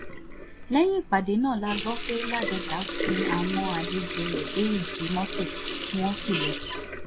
lẹ́yìn ìpàdé náà la gbọ́ pé ládọ́jà sin àwọn àlejò rẹ̀ dé ìdí mọ́tò tí wọ́n sì lọ